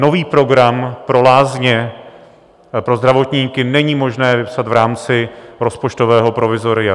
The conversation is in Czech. Nový program pro lázně, pro zdravotníky není možné vypsat v rámci rozpočtového provizoria.